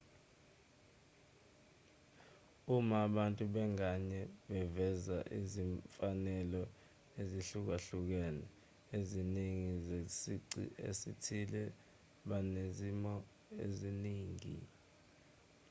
uma abantu ngabanye beveza izimfanelo ezihlukahlukene eziningana zesici esithile banezimo eziningi